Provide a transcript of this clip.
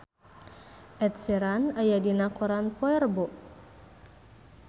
Ed Sheeran aya dina koran poe Rebo